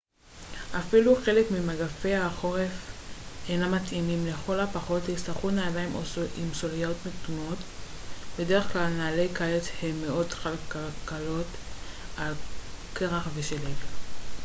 לכל הפחות תצטרכו נעליים עם סוליות מתאימות. בדרך כלל נעלי קיץ הן מאוד חלקלקות על קרח ושלג uאפילו חלק ממגפי החורף אינם מתאימים